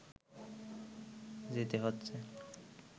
যেতে হচ্ছে